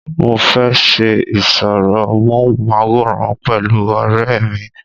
mo fẹ́ ṣe ìsọ̀rọ̀ móhùnmáwòrán pẹ̀lú ọ̀rẹ́ mi